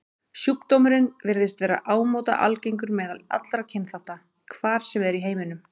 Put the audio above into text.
Sjúkdómurinn virðist vera ámóta algengur meðal allra kynþátta, hvar sem er í heiminum.